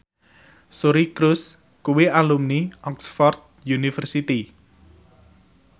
Suri Cruise kuwi alumni Oxford university